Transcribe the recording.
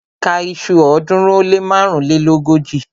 Ka iṣu ọ̀ọ́dúnrún ó lé márùnléógójì!